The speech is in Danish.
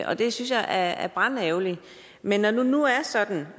og det synes jeg er brandærgerligt men når det nu er sådan